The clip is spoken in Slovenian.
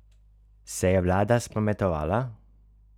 Se je vlada spametovala?